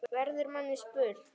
verður manni að spurn.